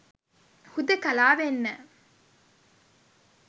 හුදෙකලා වෙන්න.